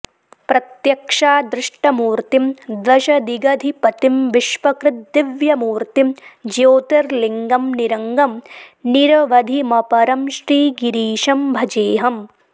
प्रत्यक्षादृष्टमूर्तिं दशदिगधिपतिं विश्वकृद्दिव्यमूर्तिं ज्योतिर्लिङ्गं निरङ्गं निरवधिमपरं श्रीगिरीशं भजेऽहम्